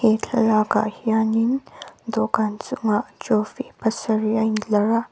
he thlalakah hianin dawhkan chungah trophy pasarih a intlar a.